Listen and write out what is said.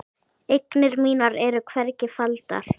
Eignir mínar eru hvergi faldar.